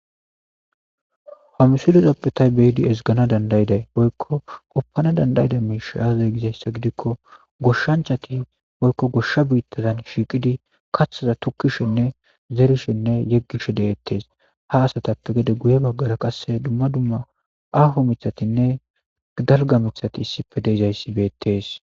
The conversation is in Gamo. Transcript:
Hamsulezappetay beyidi esgana dandayiday boykko qoppana dandayida miisha aazay gizayssa gidikko goshshanchati boykko goshsha biittadan shiiqidi kaththaza tukkishenne zerishenne yeggishe deettees ha asatappe gede guye baggara qasse dumma dumma aho mithatinne dalga mithati issife deizayssi beettees